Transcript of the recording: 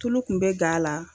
Tulu kun bɛ gan a la